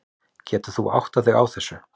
Getur þú áttað þig á þessu?